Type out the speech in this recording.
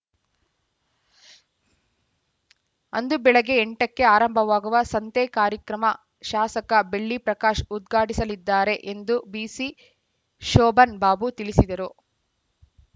ಅಂದು ಬೆಳಗ್ಗೆ ಎಂಟಕ್ಕೆ ಆರಂಭವಾಗುವ ಸಂತೆ ಕಾರ್ಯಕ್ರಮ ಶಾಸಕ ಬೆಳ್ಳಿಪ್ರಕಾಶ್‌ ಉದ್ಘಾಟಿಸಲಿದ್ದಾರೆ ಎಂದು ಬಿಸಿ ಶೋಭನ್‌ ಬಾಬು ತಿಳಿಸಿದರು